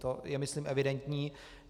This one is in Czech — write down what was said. To je myslím evidentní.